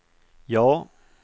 ja